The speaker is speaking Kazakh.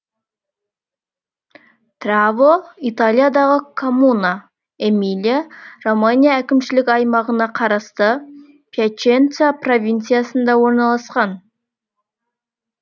траво италиядағы коммуна эмилия романья әкімшілік аймағына қарасты пьяченца провинциясында орналасқан